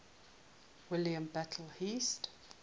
william butler yeats